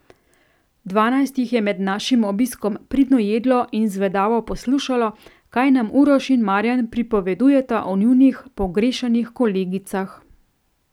Dvanajst jih je med našim obiskom pridno jedlo in zvedavo poslušalo, kaj nam Uroš in Marjan pripovedujeta o njunih pogrešanih kolegicah.